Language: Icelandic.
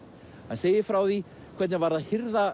hann segir frá því hvernig var að hirða